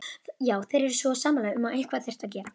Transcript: Já, þeir voru sammála um að eitthvað þyrfti að gera.